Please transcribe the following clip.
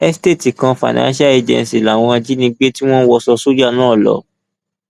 estate kan financial agency làwọn ajinígbé tí wọn wọṣọ sójà náà lọ